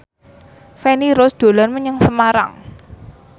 Feni Rose dolan menyang Semarang